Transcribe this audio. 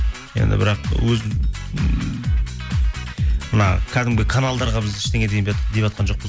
енді бірақ өз ммм мына кәдімгі каналдарға біз ештеңе деватқан жоқпыз